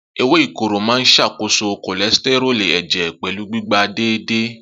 Ewé ìkorò máa ń ṣàkóso cholesterol ẹ̀jẹ̀ pẹ̀lú gbígba déédéé.